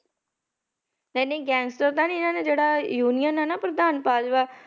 ਨਹੀਂ ਨਹੀਂ gangster ਤਾਂ ਨੀ ਇਹਨਾਂ ਨੇ ਜਿਹੜਾ union ਹੈ ਨਾ ਪ੍ਰਧਾਨ ਭਾਜਪਾ